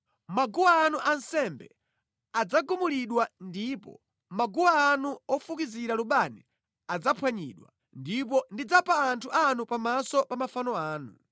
Maguwa anu ansembe adzagumulidwa ndipo maguwa anu ofukizira lubani adzaphwanyidwa; ndipo ndidzapha anthu anu pamaso pa mafano anu.